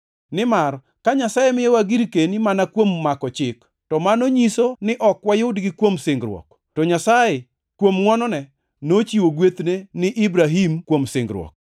Nimar ka Nyasaye miyowa girkeni mana kuom mako Chik, to mano nyiso ni ok wayudgi kuom singruok. To Nyasaye, kuom ngʼwonone, nochiwo gwethne ni Ibrahim kuom singruok.